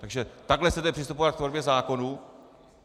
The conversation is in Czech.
Takže takhle chcete přistupovat k tvorbě zákonů?